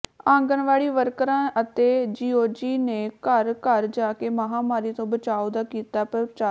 ਆਂਗਣਵਾੜੀ ਵਰਕਰਾਂ ਅਤੇ ਜੀਓਜੀ ਨੇ ਘਰ ਘਰ ਜਾ ਕੇ ਮਹਾਂਮਾਰੀ ਤੋਂ ਬਚਾਅ ਦਾ ਕੀਤਾ ਪ੍ਰਚਾਰ